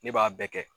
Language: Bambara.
Ne b'a bɛɛ kɛ